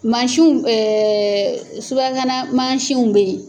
Mansinw subakana mansinw bɛ yen